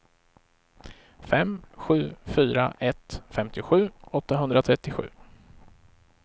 fem sju fyra ett femtiosju åttahundratrettiosju